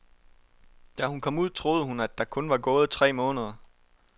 Da hun kom ud, troede hun, der kun var gået tre måneder.